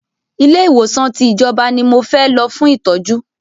Ilé ìwòsàn tí ìjọba ní mo fẹ́ lọ fún ìtọ́jú!